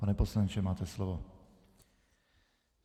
Pane poslanče, máte slovo.